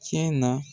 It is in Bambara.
Cɛ na